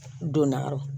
Donna yɔrɔ